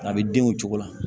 A bɛ denw cogo la